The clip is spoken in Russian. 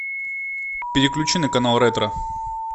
переключи на канал ретро